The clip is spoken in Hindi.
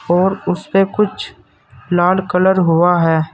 और उसपे कुछ लाल कलर हुआ है।